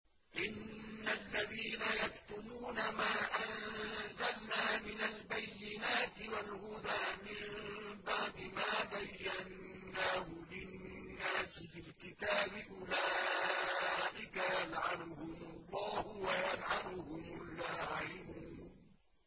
إِنَّ الَّذِينَ يَكْتُمُونَ مَا أَنزَلْنَا مِنَ الْبَيِّنَاتِ وَالْهُدَىٰ مِن بَعْدِ مَا بَيَّنَّاهُ لِلنَّاسِ فِي الْكِتَابِ ۙ أُولَٰئِكَ يَلْعَنُهُمُ اللَّهُ وَيَلْعَنُهُمُ اللَّاعِنُونَ